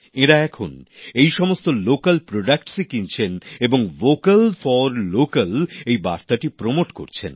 এঁরা এখন এই সমস্ত স্থানীয় স্তরে উৎপাদিত সামগ্রীই কিনছেন এবং ভ্যোকাল ফর লোক্যাল এই বার্তাটি প্রচার করছেন